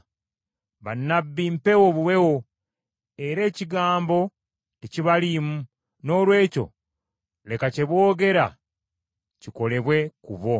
Bannabbi mpewo buwewo era ekigambo tekibaliimu; noolwekyo leka kye boogera kikolebwe ku bo.”